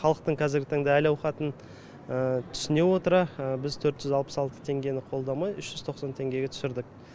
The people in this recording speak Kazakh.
халықтың қазіргі таңда әл ауқатын түсіне отыра біз төрт жүз алпыс алты теңгені қолдамай үш жүз тоқсан теңгеге түсірдік